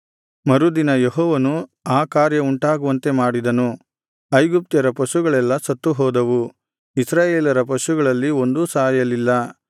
ಮರುದಿನ ಯೆಹೋವನು ಆ ಕಾರ್ಯವುಂಟಾಗುವಂತೆ ಮಾಡಿದನು ಐಗುಪ್ತ್ಯರ ಪಶುಗಳೆಲ್ಲಾ ಸತ್ತುಹೋದವು ಇಸ್ರಾಯೇಲರ ಪಶುಗಳಲ್ಲಿ ಒಂದೂ ಸಾಯಲಿಲ್ಲ